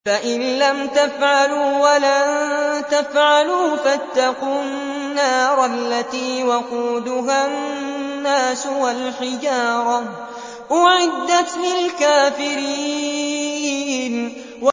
فَإِن لَّمْ تَفْعَلُوا وَلَن تَفْعَلُوا فَاتَّقُوا النَّارَ الَّتِي وَقُودُهَا النَّاسُ وَالْحِجَارَةُ ۖ أُعِدَّتْ لِلْكَافِرِينَ